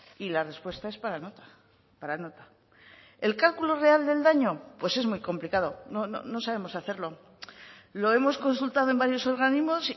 y la respuesta es para nota para nota el cálculo real del daño pues es muy complicado no sabemos hacerlo lo hemos consultado en varios organismos